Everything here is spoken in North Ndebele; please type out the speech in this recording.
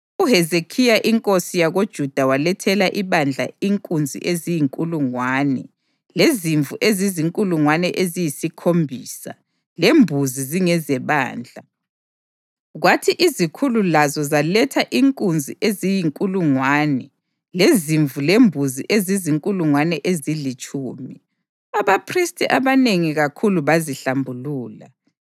UHezekhiya inkosi yakoJuda walethela ibandla inkunzi eziyinkulungwane lezimvu ezizinkulungwane eziyisikhombisa lembuzi zingezebandla, kwathi izikhulu lazo zaletha inkunzi eziyinkulungwane lezimvu lembuzi ezizinkulungwane ezilitshumi. Abaphristi abanengi kakhulu bazihlambulula.